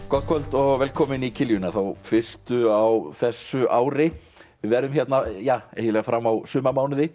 gott kvöld og velkomin í þá fyrstu á þessu ári við verðum hérna eiginlega fram á sumarmánuði